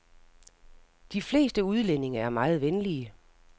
De fleste udlændinge er meget venlige.